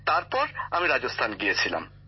তারপর আমি রাজস্থান গিয়েছিলাম